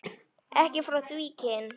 Ekki frá því kyn